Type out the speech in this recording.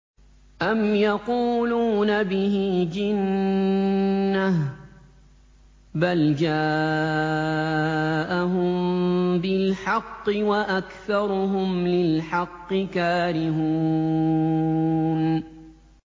أَمْ يَقُولُونَ بِهِ جِنَّةٌ ۚ بَلْ جَاءَهُم بِالْحَقِّ وَأَكْثَرُهُمْ لِلْحَقِّ كَارِهُونَ